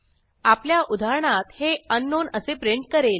आपल्या उदाहरणात हे अंकनाउन असे प्रिंट करेल